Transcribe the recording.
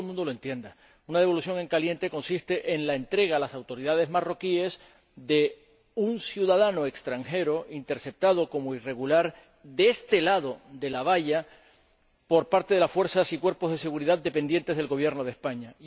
Para que todo el mundo lo entienda una devolución en caliente consiste en la entrega a las autoridades marroquíes de un ciudadano extranjero, interceptado como irregular de este lado de la valla, por parte de las fuerzas y cuerpos de seguridad dependientes del Gobierno de España.